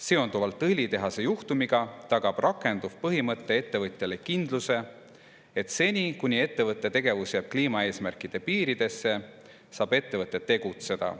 Seonduvalt õlitehase juhtumiga tagab rakenduv põhimõte ettevõtjale kindluse, et seni, kuni ettevõtte tegevus jääb kliimaeesmärkide piiridesse, saab ettevõte tegutseda.